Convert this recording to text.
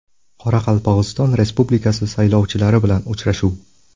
Qoraqalpog‘iston Respublikasi saylovchilari bilan uchrashuv.